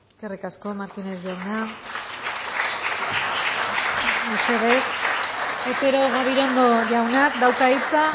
eskerrik asko martínez jauna otero gabirondo jaunak dauka hitza